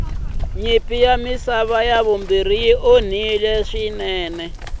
nyimpi ya misava ya vumbirhi yi onhile swinene